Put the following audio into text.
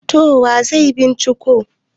to wa zai binciko